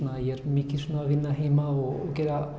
ég er mikið að vinna heima og